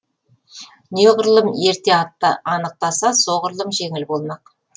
неғұрлым ерте анықтаса соғырлұм жеңіл болмақ